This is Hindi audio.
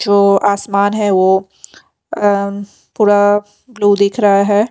जो आसमान है वो अम् पूरा ब्लू दिख रहा है।